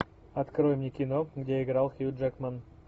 открой мне кино где играл хью джекман